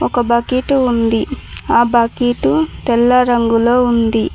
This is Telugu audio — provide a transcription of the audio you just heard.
ఒక బకిటు ఉంది ఆ బకిటు తెల్ల రంగులో ఉంది.